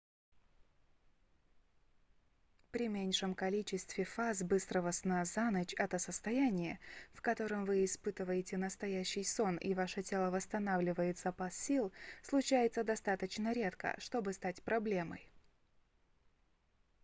при меньшем количестве фаз быстрого сна за ночь это состояние в котором вы испытываете настоящий сон и ваше тело восстанавливает запас сил случается достаточно редко чтобы стать проблемой